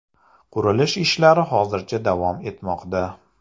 Qurilish ishlari hozircha davom etmoqda.